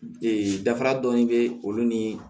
dafara dɔɔnin bɛ olu ni